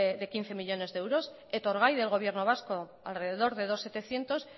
de quince millónes de euros etorgai del gobierno vasco alrededor de dos setecientos